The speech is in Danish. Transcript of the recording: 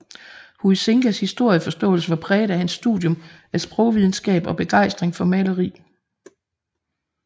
Huizingas historieforståelse var præget af hans studium af sprogvidenskab og begejstring for maleri